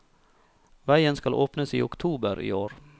Veien skal åpnes i oktober i år.